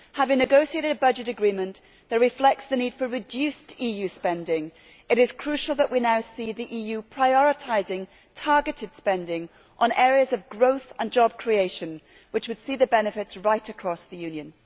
Having negotiated a budget agreement which reflects the need for reduced EU spending, it is crucial that we now see the EU prioritising targeted spending on areas of growth and job creation which would see the benefits right across the Union.